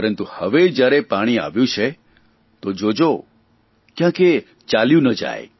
પરંતુ હવે જયારે પાણી આવ્યું છે તો જોજો કયાંક એ ચાલ્યું ન જાય